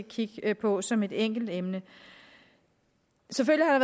kigge på som et enkeltemne selvfølgelig har